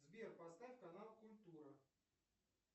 сбер поставь канал культура